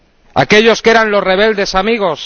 ¿A aquellos que eran los rebeldes amigos?